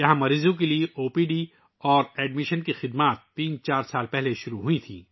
مریضوں کے لئے او پی ڈی اور داخلے کی خدمات یہاں تین چار سال قبل شروع ہوئی تھیں